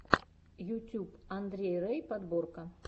ютьюб андрей рэй подборка